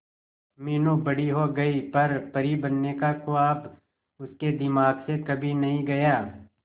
मीनू बड़ी हो गई पर परी बनने का ख्वाब उसके दिमाग से कभी नहीं गया